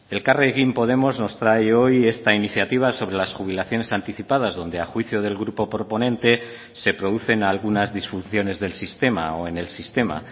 elkarrekin podemos nos trae hoy esta iniciativa sobre las jubilaciones anticipadas donde a juicio del grupo proponente se producen algunas disfunciones del sistema o en el sistema